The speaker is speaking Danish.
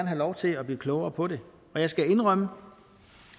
have lov til at blive klogere på det og jeg skal indrømme